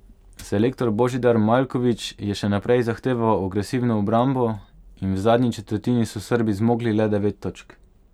Selektor Božidar Maljković je še naprej zahteval agresivno obrambo in v zadnji četrtini so Srbi zmogli le devet točk.